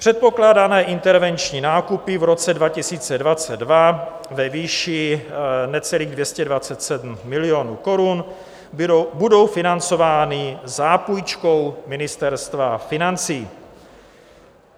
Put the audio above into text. Předpokládané intervenční nákupy v roce 2022 ve výši necelých 227 milionů korun budou financovány zápůjčkou Ministerstva financí.